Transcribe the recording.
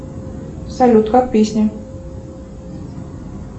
салют как песня